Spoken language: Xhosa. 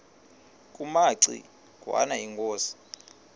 kumaci ngwana inkosi